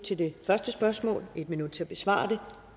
til det første spørgsmål og en minut til at besvare det